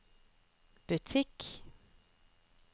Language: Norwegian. butikk